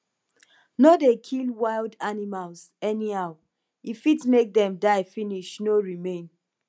no dey kill wild animals anyhow e fit make them die finish no remain